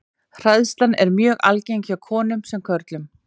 Hræðsla er mjög algeng hjá konum sem körlum.